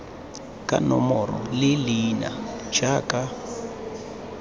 ka nomoro le leina jaaka